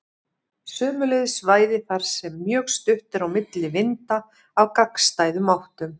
Sömuleiðis svæði þar sem mjög stutt er á milli vinda af gagnstæðum áttum.